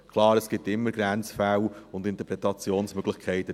Klar, es gibt immer Grenzfälle und Interpretationsmöglichkeiten.